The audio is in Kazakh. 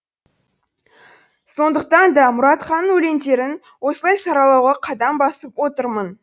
сондықтан да мұратханның өлеңдерін осылай саралауға қадам басып отырмын